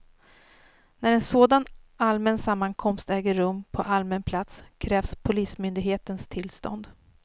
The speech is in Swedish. När en sådan allmän sammankomst äger rum på allmän plats krävs polismyndighetens tillstånd.